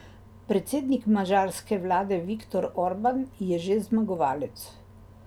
Predsednik madžarske vlade Viktor Orban je že zmagovalec.